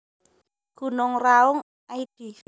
Gunung Raung id